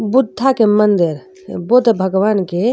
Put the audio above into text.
बुद्धा के मंदिर बुद्ध भगवान के --